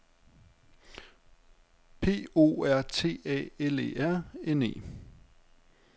P O R T A L E R N E